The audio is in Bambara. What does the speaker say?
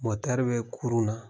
Motɛri bɛ kurun na.